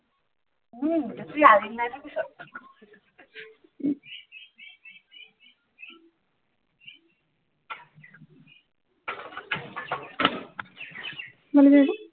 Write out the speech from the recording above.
কিমান লৈছিলে এইটো